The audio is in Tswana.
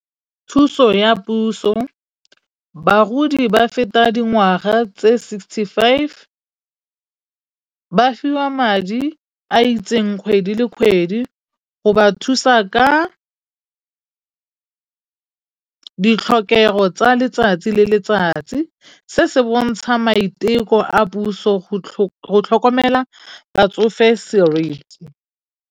Thuso ya puso. Bagodi ba feta dingwaga tse sixty five, ba fiwa madi a itseng kgwedi le kgwedi. Go ba thusa ka ditlhokego tsa letsatsi le letsats, i se se bontsha maiteko a puso go tlhokomela batsofe seriti.